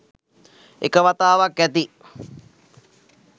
එක වතාවක් ඇති